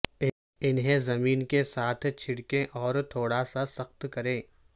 انہیں زمین کے ساتھ چھڑکیں اور تھوڑا سا سخت کریں